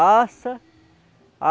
Assa.